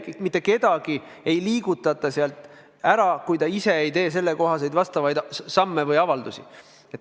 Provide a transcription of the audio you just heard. Mitte kedagi ei liigutata sealt ära, kui ta ise ei astu selleks samme, ei esita avaldust.